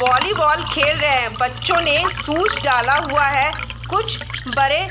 volleyball खेल रहे है बच्चों ने शूज डाला हुआ है कुछ बड़े --